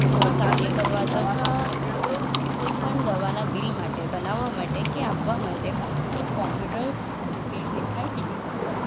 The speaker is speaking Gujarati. તેમાં કાર્ય કરવા તથા કોઈ પણ દવાના બિલ માટે બનાવવા માટે કે આપવા માટે એક કોમ્પ્યુટર મૂકેલું દેખાય છે ટેબલ પર.